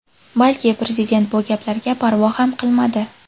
Balki... Prezident bu gaplarga parvo ham qilmadi.